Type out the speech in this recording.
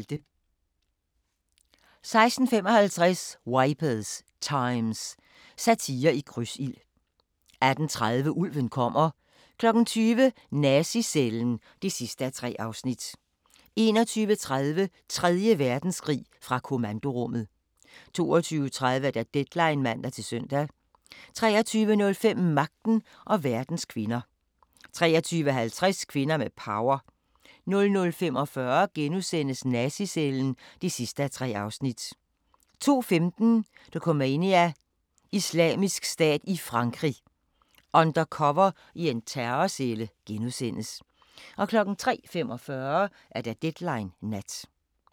16:55: Wipers Times – satire i krydsild 18:30: Ulven kommer 20:00: Nazi-cellen (3:3) 21:30: Tredje Verdenskrig – fra kommandorummet 22:30: Deadline (man-søn) 23:05: Magten og verdens kvinder 23:50: Kvinder med power 00:45: Nazi-cellen (3:3)* 02:15: Dokumania: Islamisk Stat i Frankrig – undercover i en terrorcelle * 03:45: Deadline Nat